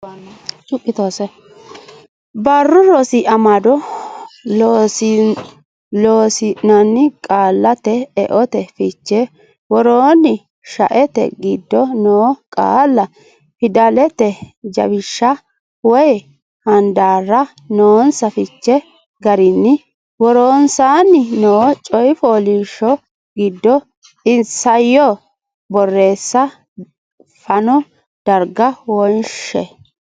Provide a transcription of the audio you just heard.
Barru Rosi Amado Loossinanni Qaallate eote fiche Woroonni shaete giddo noo qaalla Fidalete jawishsha woy handaarra noonsa fiche garinni woronsaanni noo coy fooliishsho giddo Isayyo borreessa fano darga wonshshe.